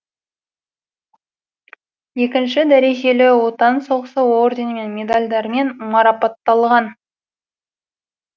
екінші дәрежелі отан соғысы орденімен медальдармен марапатталған